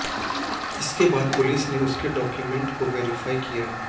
इसके बाद पुलिस ने उसके डाक्यूमेंट्स को वेरीफाई किया